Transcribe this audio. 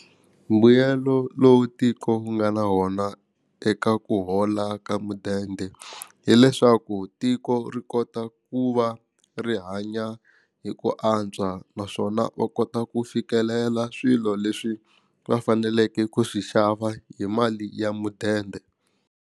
Mbuyelo lowu tiko wu nga na wona eka ku hola ka mudende hileswaku tiko ri kota ku va ri hanya hi ku antswa naswona va kota ku fikelela swilo leswi va faneleke ku swi xava hi mali ya mudende.